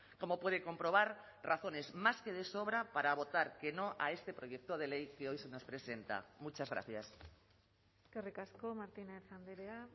como puede comprobar razones más que de sobra para votar que no a este proyecto de ley que hoy se nos presenta muchas gracias eskerrik asko martínez andrea